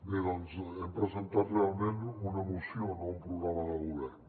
bé doncs hem presentat realment una moció no un programa de govern